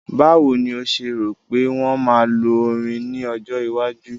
Báwo ni o ṣe rò pé wọ́n máa lo orin ní ọjọ́ iwájú?